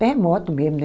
Terremoto mesmo, né?